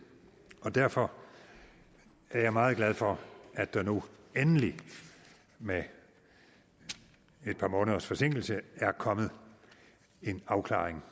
derfor er jeg meget glad for at der nu endelig med et par måneders forsinkelse er kommet en afklaring